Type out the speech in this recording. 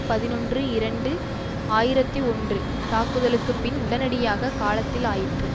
பதினொன்று இரண்டு ஆயிரத்தி ஒன்று தாக்குதலுக்கு பின் உடனடியான காலத்தில் ஆயிற்று